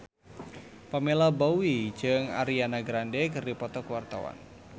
Pamela Bowie jeung Ariana Grande keur dipoto ku wartawan